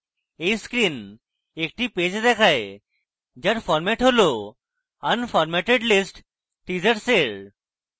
এই screen একটি page দেখায় যার format হল unformatted list teasers এর